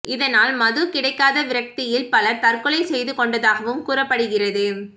இதனால் மது கிடைக்காத விரக்தியில் பலர் தற்கொலை செய்து கொண்டதாகவும் கூறப்படுகிறது